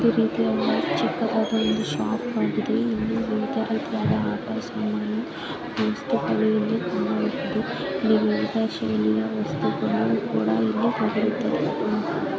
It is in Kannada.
ಈ ರೀತಿಯದ ಚಿಕ್ಕದಾದ ಒಂದು ಶಾಪ್ ಆಗಿದೆ ಇಲ್ಲಿ ವಿವಿಧ ರೀತಿಯದ ಆಟ ಸಾಮಾನು ಈ ಸ್ತಿತಿಯಲ್ಲಿ ಕಾಣಬಹುದು ವಿವಿಧ ಶೈಲಿಯ ವಸ್ತುಗಳು ಕೂಡ ಇಲ್ಲಿ ದೊರೆಯುತ್ತದೇ.